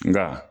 Nka